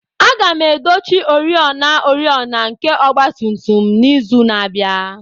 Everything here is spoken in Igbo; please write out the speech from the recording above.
Aga m edochi oriọna oriọna nke ọgba tum tum n'izu na-abịa.